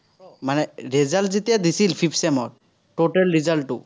মানে result যেতিয়া দিছিল sixth sem ৰ, total result টো।